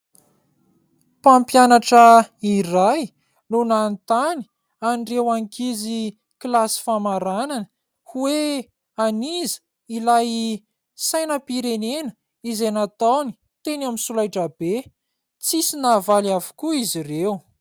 Mpampianatra iray no nanontany an'ireo ankizy kilasy famaranana hoe : an'iza ilay sainam-pirenena izay nataony teny amin'ny solaitra be ? Tsy nisy nahavaly avokoa izy ireo.